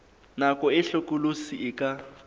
nako e hlokolosi e ka